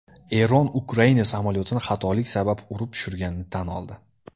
Eron Ukraina samolyotini xatolik sabab urib tushirganini tan oldi .